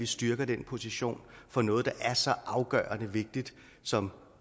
styrker den position for noget der er så afgørende vigtigt som